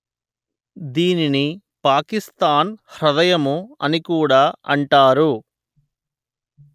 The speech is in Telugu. దీనిని పాకిస్తాన్ హ్రదయం అనికూడా అంటారు